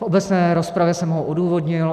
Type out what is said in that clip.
V obecné rozpravě jsem ho odůvodnil.